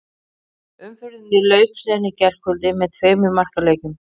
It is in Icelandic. Umferðinni lauk síðan í gærkvöldi með tveimur markaleikjum.